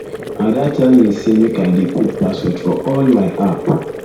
ada tell me say make i dey put password for all all my app